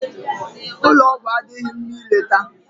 Ụlọ ọgwụ adịghị mma ileta